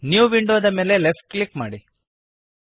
new window ದ ಮೇಲೆ left click ಮಾಡಿರಿ